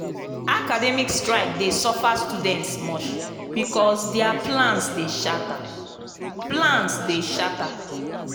academic strike dey suffer students much because dia plans dey shatter. plans dey shatter.